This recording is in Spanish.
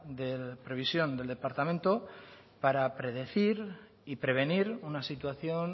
de previsión del departamento para predecir y prevenir una situación